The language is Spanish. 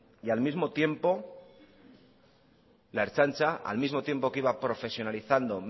y al mismo tiempo que iba profesionalizando